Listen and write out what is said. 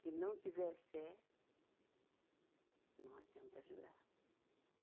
Se não tiver fé, não adianta jurar.